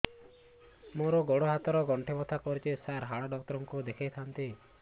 ମୋର ଗୋଡ ହାତ ର ଗଣ୍ଠି ବଥା କରୁଛି ସାର ହାଡ଼ ଡାକ୍ତର ଙ୍କୁ ଦେଖାଇ ଥାନ୍ତି